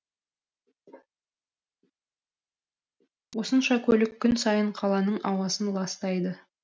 осынша көлік күн сайын қаланың ауасын ластайды